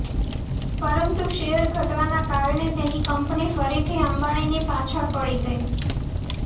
પરંતુ શેર ઘટવાના કારણે તેની કંપની ફરીથી અંબાણીની પાછળ પડી ગઈ